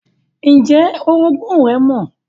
Ǹjẹ́ oroogún rẹ́ mọ̀?